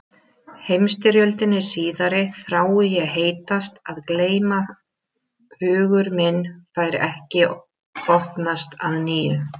Heimsstyrjöldinni síðari þrái ég heitast að gleyma hugur minn fær ekki opnast að nýju.